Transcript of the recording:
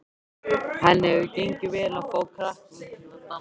Henni hefur gengið vel að fá krakkana til að dansa.